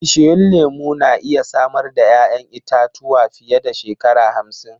Bishiyun lemu na iya samar da 'ya'yan itatuwa fiye da shekara hamsin.